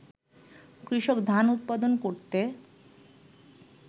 কৃষক ধান উৎপাদন করতে